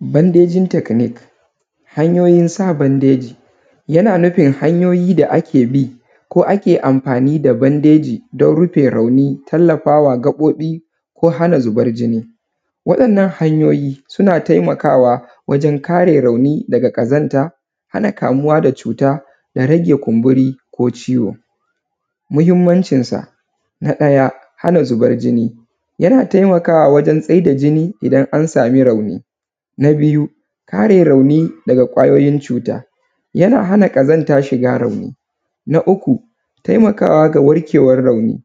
Bandejin taknik. Hanyoyin sa bandeji yana nufin hanyoyin da ake bi ko ake amfani da bandeji don rauni, tallafar da zubar jini ko hana rauni, tallafa wa gababo ko hana zuba jini waɗannan hanyoyi suna taimakawa wajen kare rauni daga ƙazanta, hana kamuwa da cuta da rage kumburi ko ciwo. Muhinmancin sa na ɗaya hana zubar jini, yana taimakawa wajen tsaida jini idan an samu rauni, na biyu kare rauni daga kwayoyin cuta yana hana ƙazanta shiga rauni na uku taimakawa da warkewan rauni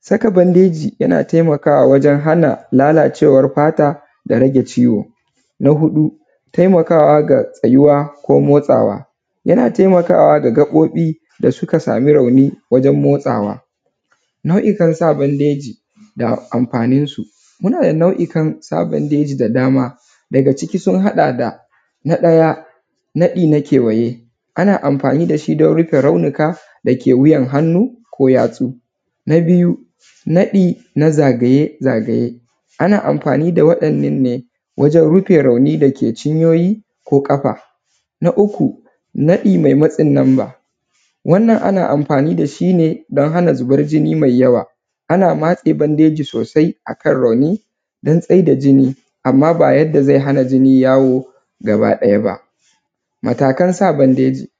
saka bandeji yana taimakawa wajen hana lalacewan fata da rage ciwo. Na huɗu taimakawa da tsayuwa ko motsawa yana taimakawa da gabobi da suka samu rauni wajen motsawa nau’ikan sa bandeji da amfanin su, muna da nau’ikan sa bandeji da dama daga ciki sun haɗa da na ɗaya naɗi na kewaye, ana amfani da shi don rufe raunika da kewayen hannu ko yatsu. Na biyu naɗi na zagaye-zagaye ana amfani da waɗannan ne wajen rrufe rauni dake cinyoyi ko ƙafa, na uku naɗi me matsin namba wannan ana amfani da shi ne don hana zuban jini mai yawa, ana matse bandeji sosai akan rauni dan tsai da jini amma ba yanda ze hana jini yawo gaba ɗatya ba matakan sa bandeji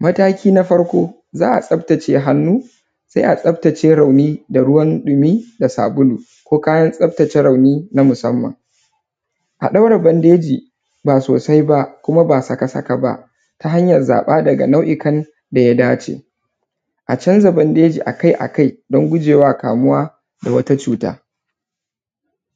mataki na farko za’a tsaftace hannu se a tsaftace rauni da ruwan ɗumi da sabulu ko kayan tsaftace rauni na usamman a ɗaure bandeji ba sosai ba kuma bas aka saka ba ta hanyar zaba daga nauikan da ya dace a canza bandeji akai akai don gujewa kamuwa da wata cuta.